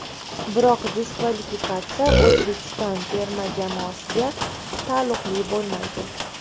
Biroq diskvalifikatsiya O‘zbekiston terma jamoasiga taalluqli bo‘lmaydi.